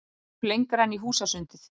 Hljóp lengra inn í húsasundið.